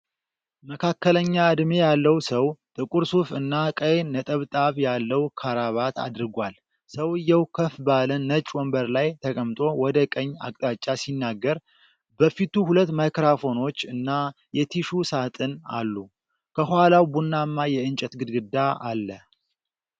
መካከለኛ ዕድሜ ያለው ሰው ጥቁር ሱፍ እና ቀይ ነጠብጣብ ያለው ከረባት አድርጓል። ሰውዬው ከፍ ባለ ነጭ ወንበር ላይ ተቀምጦ ወደ ቀኝ አቅጣጫ ሲናገር፤ በፊቱ ሁለት ማይክሮፎኖች እና የቲሹ ሳጥን አሉ። ከኋላው ቡናማ የእንጨት ግድግዳ አለ።